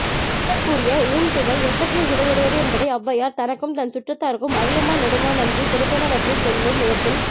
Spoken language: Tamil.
கபிலர் கூறிய ஊன்துவை எத்தகைய சுவையுடையது என்பதை ஔவையார் தனக்கும் தன்சுற்றத்தார்க்கும் அதியமான் நெடுமான் அஞ்சி கொடுத்தனவற்றிச் சொல்லும் இடத்தில்